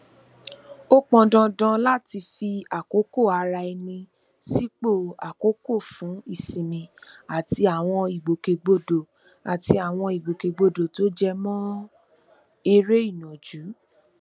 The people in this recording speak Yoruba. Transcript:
ó pọn dandan láti fi àkókò ara ẹni sípò àkókó fún ìsinmi àti àwọn ìgbòkègbodò àti àwọn ìgbòkègbodò tó jẹ mọ eré ìnàjú